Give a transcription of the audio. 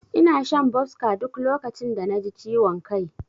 Ina shan Boska duk lokacin da naji ciwon kai.